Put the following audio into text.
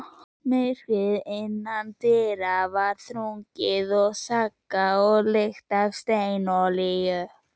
Myrkrið innandyra var þrungið sagga og lykt af steinolíu.